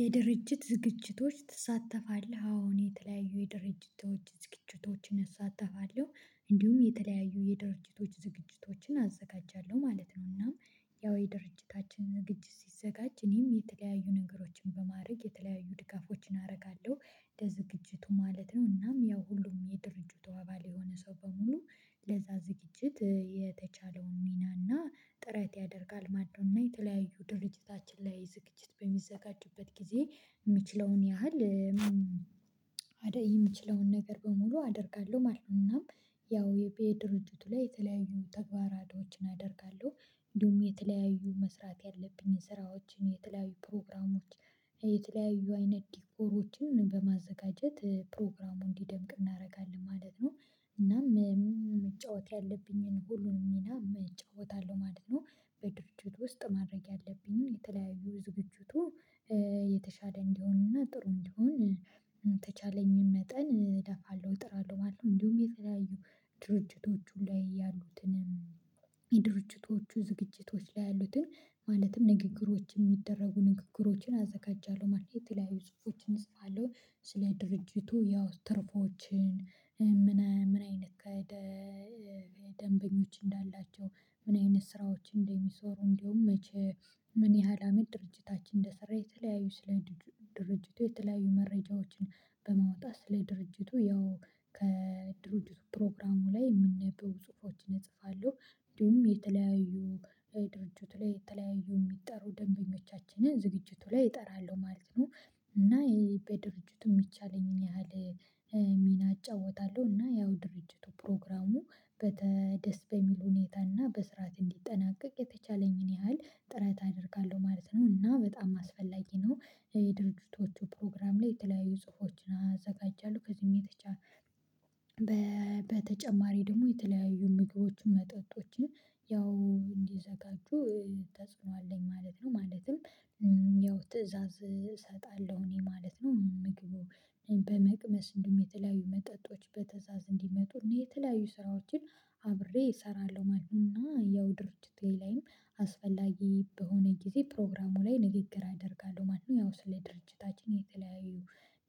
የድርጅት ዝግጅቶች ትሳተፋለህ አዎን የተለያዩ የድርጅቶች ዝግጅቶችን እሳተፋለሁ እንዲሁም የተለያዩ የድርጅቶች ዝግጅቶችን አዘጋጃለሁ ማለት ነው። እናም ያው የድርጅታችን ዝግጅት ሲዘጋጅ እኔም የተለያዩ ነገሮችን በማድረግ የተለያዩ ድጋፎችን አደርጋለሁ ለዝግጅቱ ማለት ነው። እናም ያው ሁሉም የድርጅቱ አባል የሆነ ሰው በሙሉ ለዛ ዝግጅት የተቻለውን ሚና እና ጥረት ያደርጋል ማን ነው እና የተለያዩ ድርጅታችን ላይ ዝግጅት በሚዘጋጁበት ጊዜ የሚችለውን ያህል የምችለውን ነገር በሙሉ አደርጋለሁ ማለት ነው። እናም ያው የቢኤ ድርጅቱ ላይ የተለያዩ ተግባራቶችን አደርጋለሁ። እንዲሁም የተለያዩ መስራት ያለብኝን ስራዎችን የተለያዩ ፕሮግራሞች የተለያዩ አይነት ዲኮሮችን በማዘጋጀት ፕሮግራሙን እንዲደምቅ እናደርጋለን ማለት ነው። እናም መጫወት ያለብኝን ሁሉንም ሚና መጫወት እጫወታለሁ ማለት ነው። በድርጅቱ ውስጥ ማድረግ ያለብኝን የተለያዩ ዝግጅቱ የተሻለ እንዲሆን እና ጥሩ እንዲሆን የተቻለኝን መጠን እለፋለሁ እጥራለሁ ማለት ነው። እንዲሁም የተለያዩ ድርጅቶቹ ላይ ያሉትን ድርጅቶቹ ዝግጅቶች ላይ ያሉትን ማለትም ንግግሮች የሚደረጉ ንግግሮችን አዘጋጃለሁ ማለት ነው። የተለያዩ ጽሁፎችን እጽፋለሁ። ስለ ድርጅቱ ያው ትርፎችን ምን ምን አይነት ደንበኞች እንዳላቸው ምን አይነት ስራዎች እንደሚሰሩ እንዲሁም መቼ ምን ያህል አመት ድርጅታችን እንደሰራ የተለያዩ ስለ ድርጅቱ የተለያዩ መረጃዎችን በማውጣት ስለ ድርጅቱ ያው ከድርጅቱ ፕሮግራሙ ላይ የሚነበቡ ጽሁፎችን እጽፋለሁ። እንዲሁም የተለያዩ ድርጅቱ ላይ የተለያዩ የሚጠሩ ደንበኞቻችንን ዝግጅቱ ላይ እጠራለሁ ማለት ነው። እና ይሄ በድርጅቱ የሚቻለኝን ያህል ሚና እጫወታለሁ እና ያው ድርጅቱ ፕሮግራሙ በተ ደስ በሚል ሁኔታ እና በስርዓት እንዲጠናቀቅ የተቻለኝን ያህል ጥረት አደርጋለሁ ማለት ነው። እና በጣም አስፈላጊ ነው። የድርጅቶቹ ፕሮግራም ላይ የተለያዩ ጽሁፎችን አዘጋጃለሁ ከዚህም የተቻለ በተጨማሪ ደግሞ የተለያዩ ምግቦችን መጠጦችን ያው እንዲዘጋጁ ተጽዕኖ አለኝ ማለት ነው። ማለትም ያው ትእዛዝ እሰጣለሁ እኔ ማለት ነው ምግቡ በመቅመስ እንዲሁ የተለያዩ መጠጦች በትእዛዝ እንዲመጡ እና የተለያዩ ስራዎችን አብሬ እሰራለሁ ማለት ነው። እና ያው ድርጅቴ ላይም አስፈላጊ በሆነ ጊዜ ፕሮግራሙ ላይ ንግግር አደርጋለሁ ማለት ያው ስለ ድርጅታችን የተለያዩ